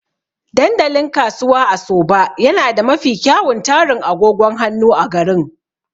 Dandalin Kasuwa a Soba yana da mafi kyawun tarin agogon hannu a garin.